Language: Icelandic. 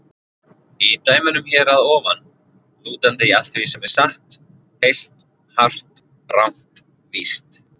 Í dæmunum hér að ofan: lútandi að því sem er satt, heilt, hart, rangt, víst.